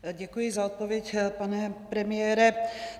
Děkuji za odpověď, pane premiére.